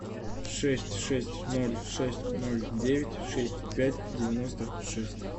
шесть шесть ноль шесть ноль девять шесть пять девяносто шесть